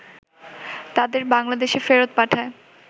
তাদের বাংলাদেশে ফেরত পাঠায়